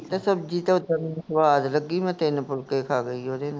ਤਾਂ ਸਬਜ਼ੀ ਤਾ ਉੱਦਾਂ ਮੈਨੂੰ ਸਵਾਦ ਲੱਗੀ, ਮੈਂ ਤਿੰਨ ਫੁਲਕੇ ਖਾ ਗਈ ਓਹਦੇ ਨਾਲ